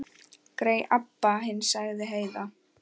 Grey Abba hin, sagði Heiða.